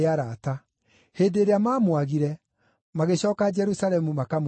Hĩndĩ ĩrĩa mamwaagire, magĩcooka Jerusalemu makamũcarie.